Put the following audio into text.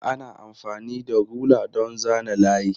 Ana amfani da rula don zana layi.